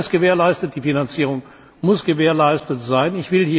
Der Beitritt ist gewährleistet, die Finanzierung muss gewährleistet sein.